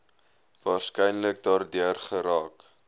waarskynlik daardeur geraak